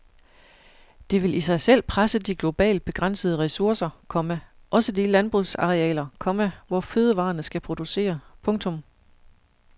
Det vil i sig selv presse de globalt begrænsede ressourcer, komma også de landbrugsarealer, komma hvor fødevarerne skal producere. punktum